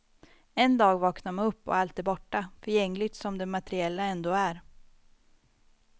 En dag vaknar man upp och allt är borta, förgängligt som det materiella ändå är.